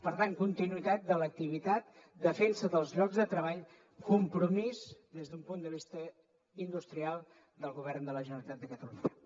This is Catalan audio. per tant continuïtat de l’activitat defensa dels llocs de treball compromís des d’un punt de vista industrial del govern de la generalitat de catalunya